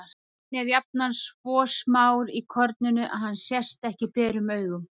Hann er jafnan svo smár í korninu að hann sést ekki berum augum.